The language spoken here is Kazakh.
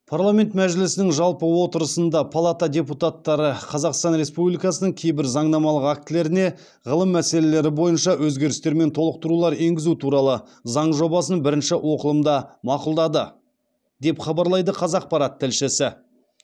парламент мәжілісінің жалпы отырысында палата депутаттары қазақстан республикасының кейбір заңнамалық актілеріне ғылым мәселелері бойынша өзгерістер мен толықтырулар енгізу туралы заң жобасын бірінші оқылымда мақұлдады деп хабарлайды қазақпарат тілшісі